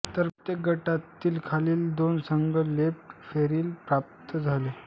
तर प्रत्येक गटातील खालील दोन संघ प्लेट फेरीस पात्र झाले